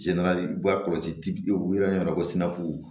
Jɛna u ka kɔlɔsi u yɛrɛ ɲɛna ko sinafu